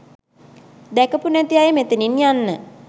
දැකපු නැති අය මෙතනින් යන්න.